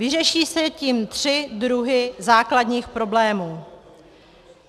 Vyřeší se tím tři druhy základních problémů.